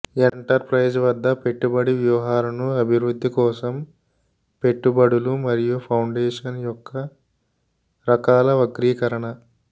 enterprise వద్ద పెట్టుబడి వ్యూహాలను అభివృద్ధి కోసం పెట్టుబడులు మరియు ఫౌండేషన్ యొక్క రకాల వర్గీకరణ